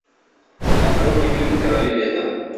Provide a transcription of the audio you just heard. открой мне фильм короли лета